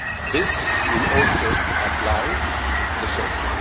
This will also apply to the Centre.